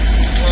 Qaytarıram.